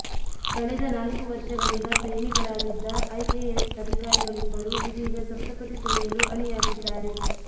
ಕಳೆದ ನಾಲ್ಕು ವರ್ಷಗಳಿಂದ ಪ್ರೇಮಿಗಳಾಗಿದ್ದ ಐಎಎಸ್ ಅಧಿಕಾರಿಗಳಿಬ್ಬರು ಇದೀಗ ಸಪ್ತಪದಿ ತುಳಿಯಲು ಅಣಿಯಾಗಿದ್ದಾರೆ